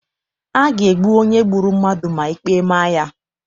A ga-egbu onye gburu mmadụ ma ikpe ma ya.